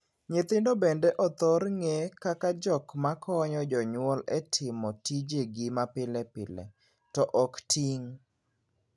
Nyithindo bende othor ng'ee kaka jok makonyo jonyuol e timo tijegi ma pilepile, to ok ting'.